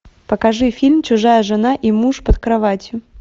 покажи фильм чужая жена и муж под кроватью